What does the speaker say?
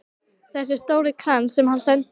Þessi stóri krans sem hann sendi.